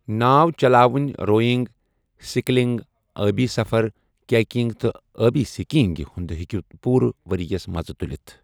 ناو چلاوٕنۍ، rowing, sculling, ٲبی سفر، کیکنگ تہٕ ٲبی سکینگ ہُنٛد ہیکو پوٗرٕ ورۍ یَس مَزٕ تُلِتھ ۔